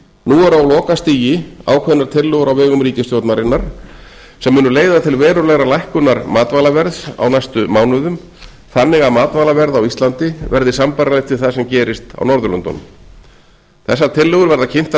nú eru á lokastigi ákveðnar tillögur á vegum ríkisstjórnarinnar í þessum efnum sem munu leiða til verulegar lækkunar matvælaverðs á næstu mánuðum þannig að matvælaverð á íslandi verði sambærilegt við það sem gerist á norðurlöndunum þessar tillögur verða kynntar frekar